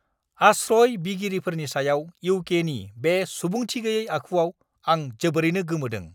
आश्रय बिगिरिफोरनि सायाव इउ. के. नि सुबुंथिगैयै आखुआव आं जोबोरैनो गोमोदों।